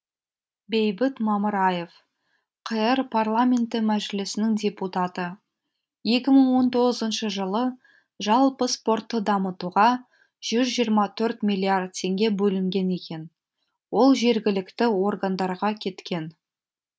бейбіт мамыраев қр парламенті мәжілісінің депутаты екі мың он тоғызыншы жылы жалпы спортты дамытуға жүз жиырма төрт миллиард теңге бөлінген екен ол жергілікті органдарға кеткен